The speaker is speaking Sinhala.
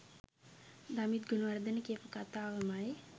දමිත් ගුණවර්ධන කියපු කතාවමයි.